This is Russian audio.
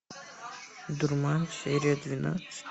дурман серия двенадцать